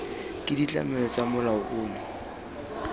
ke ditlamelo tsa molao ono